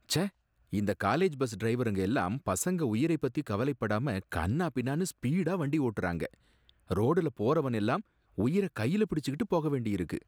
ச்சே! இந்த college bus டிரைவருங்க எல்லாம் பசங்க உயிரை பத்தி கவலைப் படாம கன்னா பின்னானு ஸ்பீடா வண்டி ஓட்டுறாங்க. ரோடுல போறவன் எல்லாம் உயிர கையில பிடிச்சுக்கிட்டு போக வேண்டி இருக்கு.